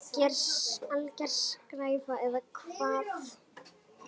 Alger skræfa eða hvað?